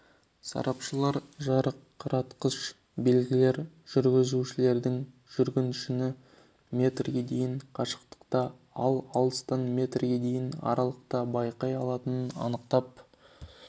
сарапшылар жарқыратқыш белгілер жүргізушілердің жүргіншіні метрге дейін қашықтықта ал алыстан метрге дейінгі аралықта байқай алатынын анықтап